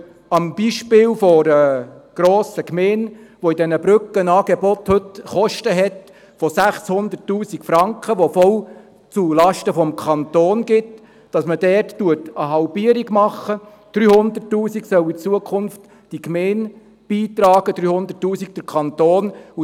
Zum Beispiel bei einer grossen Gemeinde, die bei diesen Brückenangeboten heute Kosten von 600 000 Franken hat, die voll zulasten des Kantons gehen, sollen in Zukunft 300 000 Franken die Gemeinde und 300 000 Franken der Kanton beitragen.